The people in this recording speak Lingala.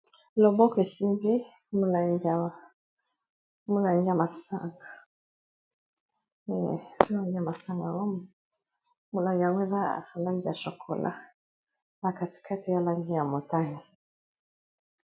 Awa loboko esimbi mulangi ya masanga. Mulangi yango, ezali na langi ya shokola pe langi ya motane.